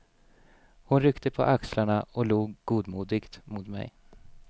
Hon ryckte på axlarna och log godmodigt mot mig.